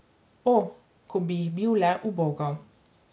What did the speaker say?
O, ko bi jih bil le ubogal.